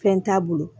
Fɛn t'a bolo